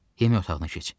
Yemək otağına keç.